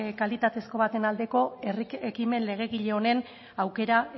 kalitatezko baten aldeko herri ekimen legegile honen aukera